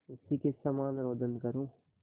उसी के समान रोदन करूँ